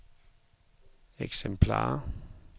eksemplarer